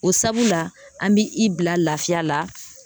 O sabula an bɛ i bila lafiya la